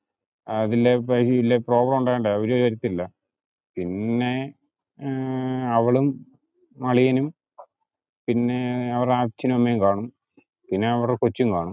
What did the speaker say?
അതില് വലിയ problem ഉണ്ടാവേണ്ട. അവര് വരുത്തില്ല. പിന്നെ അവളും, അളിയനും, പിന്നെ അവരുടെ അച്ഛനും, അമ്മയും കാണും, പിന്നെ അവരുടെ കൊച്ചും കാണും.